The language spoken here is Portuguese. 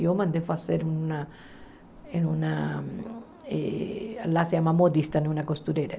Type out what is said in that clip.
Eu mandei fazer uma... eh uma... ela se chama modista numa costureira.